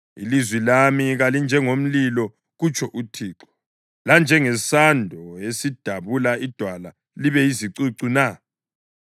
“Ilizwi lami kalinjengomlilo,” kutsho uThixo, “lanjengesando esidabula idwala libe yizicucu na?”